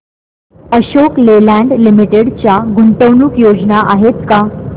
Ashok Leyland Limited च्या गुंतवणूक योजना आहेत का